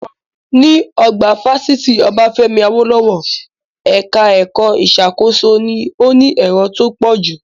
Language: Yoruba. Ní, ọgbà fásitì Obafemi Awolowo, ẹka ẹ̀kọ́ ìṣàkóso ni ó ní èrò tó pọ̀jù.